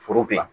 Foro dilan